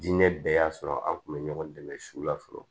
Diinɛ bɛɛ y'a sɔrɔ an kun bɛ ɲɔgɔn dɛmɛ su la fɔlɔ